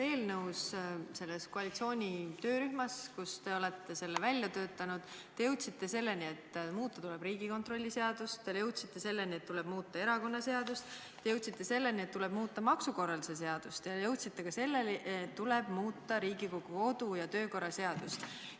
Selles koalitsiooni töörühmas, kus te olete selle eelnõu välja töötanud, te jõudsite selleni, et muuta tuleb Riigikontrolli seadust, te jõudsite selleni, et tuleb muuta erakonnaseadust, te jõudsite selleni, et tuleb muuta maksukorralduse seadust, ja jõudsite ka selleni, et tuleb muuta Riigikogu kodu- ja töökorra seadust.